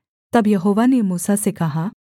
तब यहोवा ने मूसा से कहा